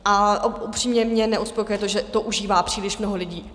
A upřímně mě neuspokojuje to, že to užívá příliš mnoho lidí.